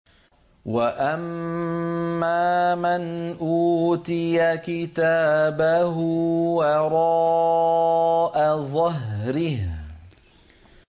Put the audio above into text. وَأَمَّا مَنْ أُوتِيَ كِتَابَهُ وَرَاءَ ظَهْرِهِ